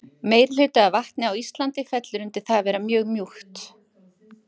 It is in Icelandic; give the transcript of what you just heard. Meirihluti af vatni á Íslandi fellur undir það að vera mjög mjúkt.